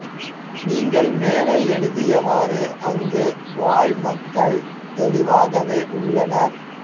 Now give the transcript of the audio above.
நீங்கள் மேலே எழுதியவாறு அங்குவாழ் மக்கள் தெளிவாகவே உள்ளனர்